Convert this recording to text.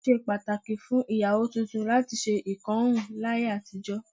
Ó ṣe pàtàkì fún ìyàwó tuntun láti ṣe ìkọrún láyé àtijọ́